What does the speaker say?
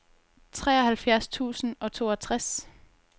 treoghalvfjerds tusind og toogtres